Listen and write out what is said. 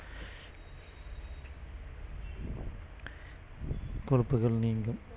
கொழுப்புகள் நீங்கும்